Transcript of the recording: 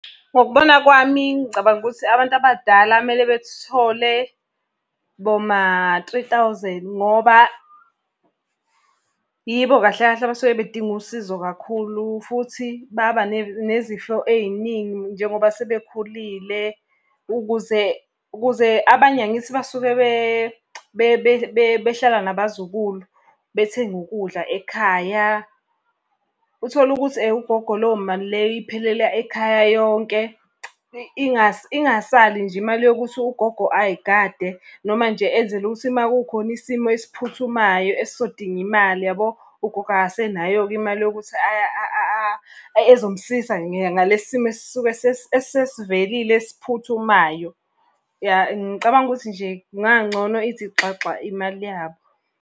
Ngokubona kwami, ngicabanga ukuthi abantu abadala kumele bethole boma-three thousand ngoba, yibo kahle kahle abasuke bedinga usizo kakhulu. Futhi baba nezifo ey'ningi njengoba sebekhulile, ukuze ukuze abanye angithi Basuke behlala nabazukulu bethenga ukudla ekhaya. Uthole ukuthi ugogo leyo mali leyo iphelela ekhaya yonke. Ingasali nje imali yokuthi ugogo ay'gade noma nje enzele ukuthi uma kukhona isimo esiphuthumayo ezizodinga imali yabo, ugogo akasenayo-ke imali yokuthi ezomsiza ngalesi simo esuke esivelile esiphuthumayo. Ngicabanga ukuthi nje kungangcono ithi xaxa imali yabo.